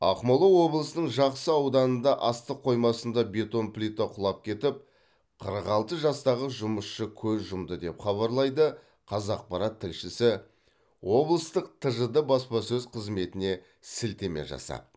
ақмола облысының жақсы ауданында астық қоймасында бетон плита құлап кетіп қырық алты жастағы жұмысшы көз жұмды деп хабарлайды қазақпарат тілшісі облыстық тжд баспасөз қызметіне сілтеме жасап